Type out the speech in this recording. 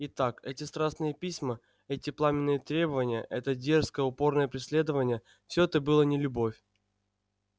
итак эти страстные письма эти пламенные требования это дерзкое упорное преследование все это было не любовь